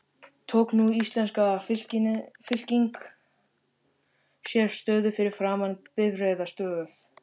Tók nú íslenska fylkingin sér stöðu fyrir framan bifreiðastöð